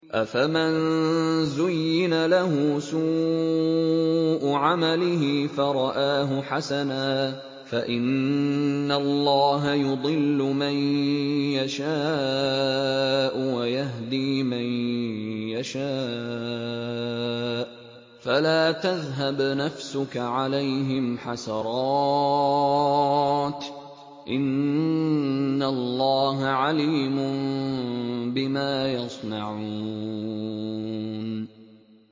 أَفَمَن زُيِّنَ لَهُ سُوءُ عَمَلِهِ فَرَآهُ حَسَنًا ۖ فَإِنَّ اللَّهَ يُضِلُّ مَن يَشَاءُ وَيَهْدِي مَن يَشَاءُ ۖ فَلَا تَذْهَبْ نَفْسُكَ عَلَيْهِمْ حَسَرَاتٍ ۚ إِنَّ اللَّهَ عَلِيمٌ بِمَا يَصْنَعُونَ